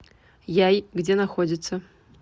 яй где находится